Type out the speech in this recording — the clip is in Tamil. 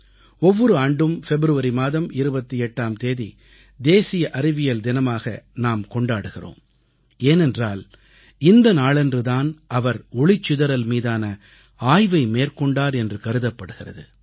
ஒவ்வொரு ஆண்டும் பிப்ரவரி மாதம் 28ஆம் தேதி தேசிய அறிவியல் தினமாக நாம் கொண்டாடுகிறோம் ஏனென்றால் இந்த நாளன்று தான் அவர் ஒளிச்சிதறல் மீதான ஆய்வை மேற்கொண்டார் என்று கருதப்படுகிறது